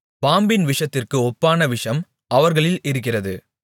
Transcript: பாம்பின் விஷத்திற்கு ஒப்பான விஷம் அவர்களில் இருக்கிறது